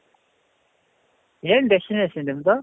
ಏನ್ destination ನಿಮ್ದು?